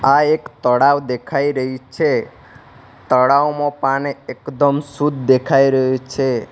આ એક તળાવ દેખાય રહ્યું છે તળાવમો પાણી એકદમ શુદ્ધ દેખાય રહ્યું છે.